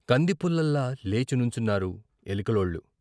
కందిపుల్లల్లా లేచి నుంచున్నారు ఎలికలోళ్ళు.